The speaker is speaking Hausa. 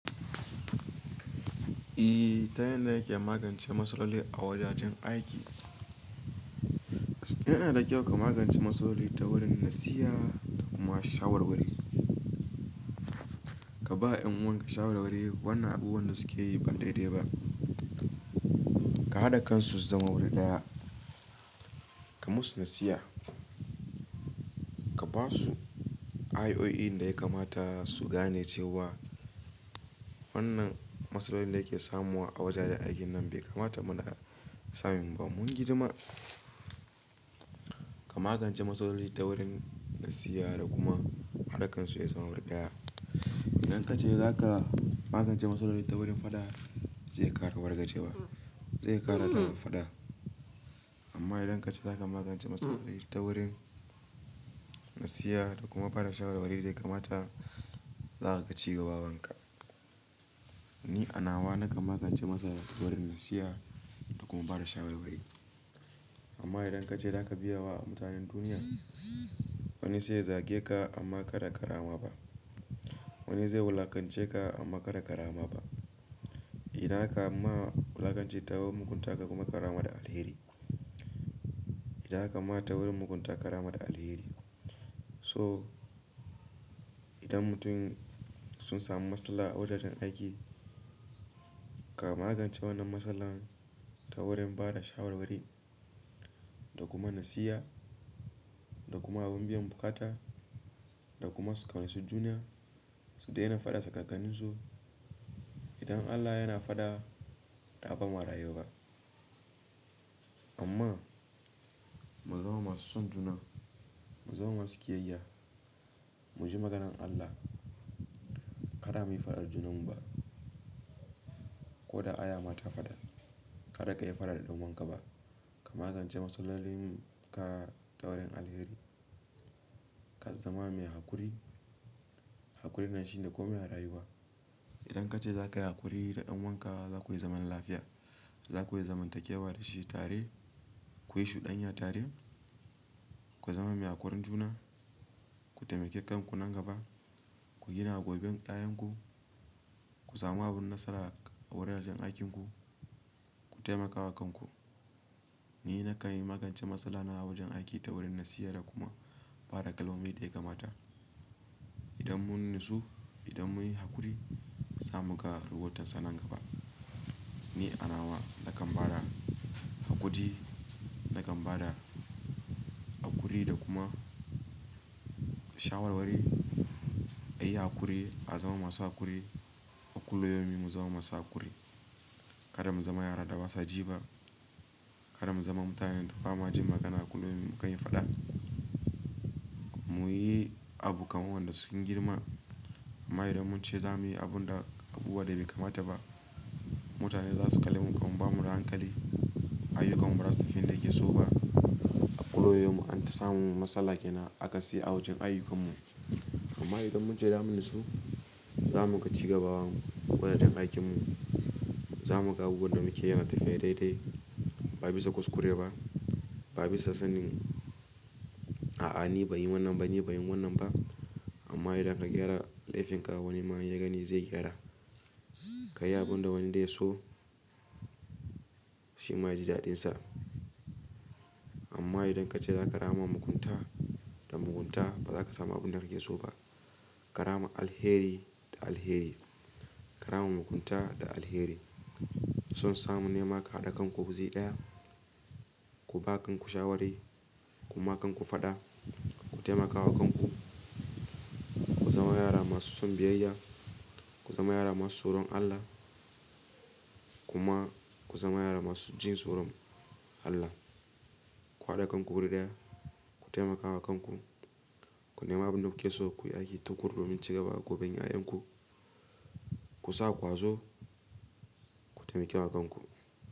Eh ta yanda nake magance matsaloli a wajajen aiki. Yana da kyau ka magance matsaloli ta wurin nasiha da kuma shawarwari. Ka ba 'yan uwanka shawarwari, wannan abubuwan da suke yi ba daidai ba. Ka haɗa kansu su zama wuri ɗaya. Ka musu nasiha. Ka ba su ayoyin da ya kamata su gane cewa wannan matsalolin da yake samuwa a wajajen aikin nan bai kamata muna samun ba. Mun girma. Ka magance matsaloli ta wurin nasiha da kuma haɗa kansu su ya zama wuri ɗaya. Idan ka ce za ka magance matsaloli ta wurin faɗa, zai ƙara wargajewa. Zai ƙara daman faɗa. Amma idan ka ce za ka magance matsaloli ta wurin nasiha da kuma bada shawarwari da ya kamata, za ka ci gaba abunka. Ni a nawa nakan magance matsala ta wurin nasiha da kuma bada shawarwari. Amma idan ka ce za ka biye wa mutanen duniya, wani sai ya zage ka amma kada karama ba. Wani zai wulakance ka amma kada karama ba. Idan aka ma wulakance ta wurin mugunta kai kuma ka rama da alheri. Idan aka ma ta wurin mugunta ka rama da alheri. To idan mutum sun samu matsala a wajajen aiki, ka magance wannan matsalan ta wurin bada shawarwari da kuma nasiha da kuma abin biyan buƙata da kuma su ƙaunaci juna su daina faɗa tsakankanin su. Idan Allah yana faɗa, ɗa ba ma rayuwa. Amma mu zama masu son juna, mu zama masu kiyayya, mu ji maganan Allah. Kada mu yi faɗa da junanmu ba. Ko da aya ma ta faɗa, kada ka yi faɗa da ɗan uwanka ba. Ka magance matsalolin ka ta wurin alheri. Ka zama mai haƙuri. Haƙuri me shine komai a rayuwa. Idan ka ce za ka yi haƙuri da ɗan uwanka za ku yi zaman lafiya. Za ku yi zamantakewa da shi tare. Ku yi shudanya tare. Ku zama mai haƙurin juna. Ku taimake kanku nan gaba. Ku gina goben ɗayanku. Ku samu abun nasara a wuraren aikinku. Ku taimaka wa kanku. Ni na kan yi magance matsala na a wajen aiki ta wurin nasiha da kuma bada kalmomi dai kamata. Idan mun natsu, idan mun yi haƙuri, za mu ga rubautarsa nan gaba. Ni anawa na kan bada haƙuri, na kan bada haƙuri da kuma shawarwari. A yi haƙuri, a zama masu haƙuri, a kulliyaumin mu zama masu haƙuri. Kada mu zama yara da ba sa ji ba. Kada mu zama mutanen da ba ma jin magana kullun mu kan yi faɗa. Mu yi abu kamar wanda sun girma. Amma idan mun ce za mu yi abun da, abubuwa da bai kamata ba, mutane za su kalle mu kamar ba mu da hankali. Aiyukanmu ba za su fi inda yake so ba. A kullayaumun an ta samun matsala ke nan, akasi a wajen aiyukanmu. Amma idan mun ce za mu natsu, za mu ga ci gaba wajen aikinmu, za mu ga abun da muke yi yana tafiya daidai. Ba bisa kuskure ba, ba bisa sanin, a'a ni ban yi wannan ba, ni ban yi wannan ba. Amma idan ka gyara laifin ka wani ma ya gani zai gyara. Ka yi abun da wani de so, shi ma ya ji daɗinsa. Amma idan ka ce za ka rama mugunta da mugunta, ba za ka samu abun da kake so ba. Karama alheri da alheri. Ka rama mugunta da alheri. Son samu nema ka haɗa kanku guzi ɗaya. Ku ba kanku shawari, kuma kanku faɗa. Ku taimaka wa kanku. Ku zama yara masu son biyayya. Ku zama yara masu tsoron Allah, kuma ku zama yara masu jin tsoron Allah. Ku haɗa kanku wuri ɗaya. Ku taimaka wa kanku. Ku nema abin da muke so, ku yi aiki tukuru domin ci gaban goben 'ya'yanku. Ku sa ƙwazo, ku taimake wa kanku.